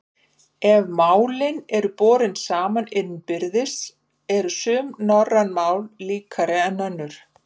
Ef málin eru borin saman innbyrðis eru sum norræn mál líkari en önnur.